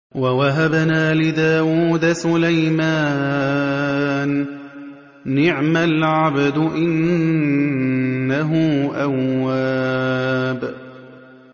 وَوَهَبْنَا لِدَاوُودَ سُلَيْمَانَ ۚ نِعْمَ الْعَبْدُ ۖ إِنَّهُ أَوَّابٌ